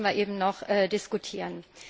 Darüber müssen wir eben noch diskuieren.